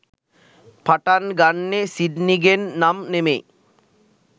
පටන් ගන්නෙ සිඩ්නිගෙන් නම් නෙමෙයි.